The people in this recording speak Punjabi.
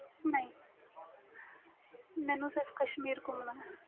ਨਹੀਂ ਮੈਨੂੰ ਸਿਰਫ ਕਸ਼ਮੀਰ ਗੁਮਨ ਦਾ